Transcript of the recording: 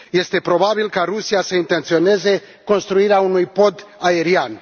Este probabil ca Rusia să intenționeze construirea unui pod aerian.